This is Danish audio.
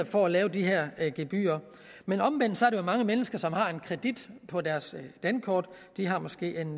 for at lave de her gebyrer men omvendt er der mange mennesker som har en kredit på deres dankort de har måske en